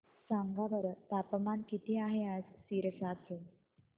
सांगा बरं तापमान किती आहे आज सिरसा चे